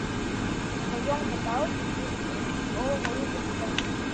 в твоем каталоге есть фильм с полом рубенсом